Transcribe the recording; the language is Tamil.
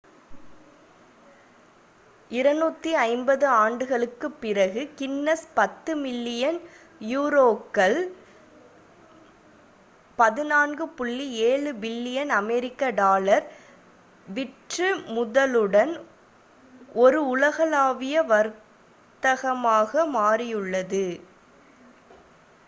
250 ஆண்டுகளுக்குப் பிறகு கின்னஸ் 10 பில்லியன் யூரோக்கள் 14.7 பில்லியன் அமெரிக்க டாலர் விற்றுமுதலுடன் ஒரு உலகளாவிய வர்த்தகமாக மாறியுள்ளது